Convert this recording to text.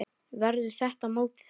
Verður þetta mótið hans?